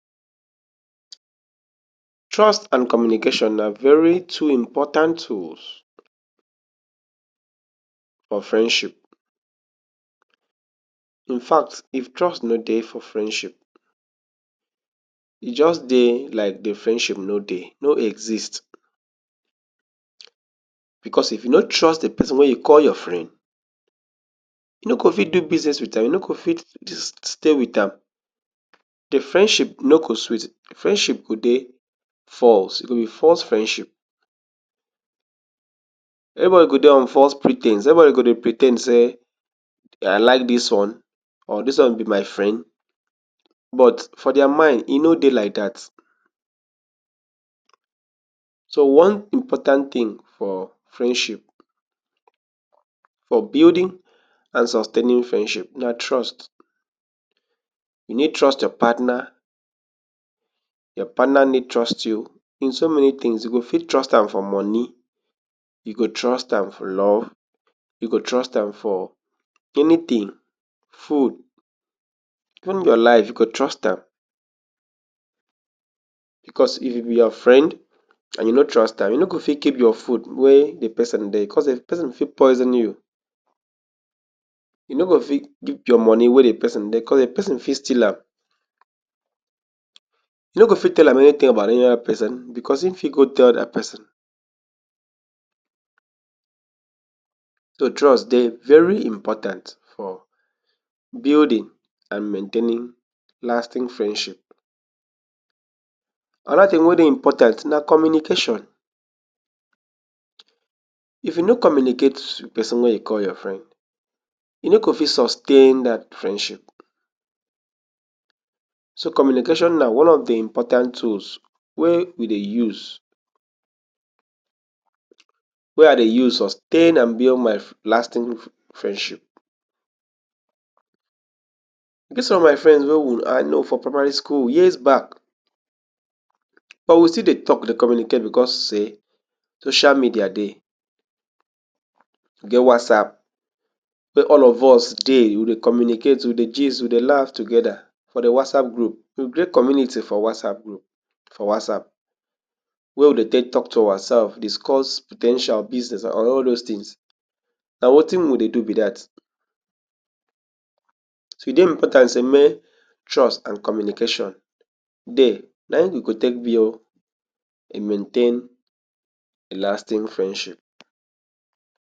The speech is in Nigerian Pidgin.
Trust and communication na very two important tools for friendship. In fact if trust nor dey for friendship e just dey like de friendship nor dey, nor exist because if you nor trust de person wey you call your friend you nor go fit do business with am you nor go fit stay with am, de friendship nor go sweet, de friendship go dey false e go be false friendship everybody go dey on false pre ten se everybody go dey pre ten d say I like dis one or dis one be my friend, but for their mind e nor dey like dat so one important thing for friendship, for building and sustaining friendship na trust you nor trust your partner, your partner nor trust you in so many things you go fit trust am for money, you go trust am for love, you go trust am for anything, food, even your life you go trust am because e if e be your friend and you nor trust am you nor go fit keep your food when de person dey because de person fit poison you you go fit keep your money when de person dey because de person fit steal am you go fit tell anything about any other person because e fit go tell dat person so trust dey very important for building and maintaining lasting friendship and other thing wey dey important na communication, if you nor communicate with person wey you call your friend you go fit sustain dat friendship so communication na one of de important tools wey we dey use wey I dey use um and sustain my and build my lasting um friendship e get some of my friends wey I know for primary school for years back but we still dey talk dey communicate because sey social media dey e get whatsapp wey all of us dey we dey communicate we dey gist we dey laugh together for de whatsapp group you create community for whatsapp group for whatsapp wey we dey take take to ourselves discuss po ten tial business and all those things na wetin we dey do be dat.E dey important say make trust and communication dey na you go take build and maintain a lasting friendship.